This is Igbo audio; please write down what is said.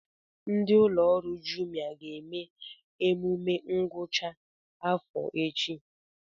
Ndị ụlọ ọrụ Jumia ga-eme emume ngwụcha afọ echi